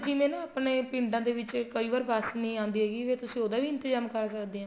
ਜਿਵੇਂ ਨਾ ਆਪਣੇ ਪਿੰਡਾਂ ਦੇ ਵਿੱਚ ਕਈ ਵਾਰ ਬੱਸ ਨਹੀਂ ਆਂਦੀ ਹੈਗੀ ਫ਼ੇਰ ਤੁਸੀਂ ਉਹਦਾ ਵੀ ਇੰਤਜਾਮ ਕਰ ਸਕਦੇ ਹੋ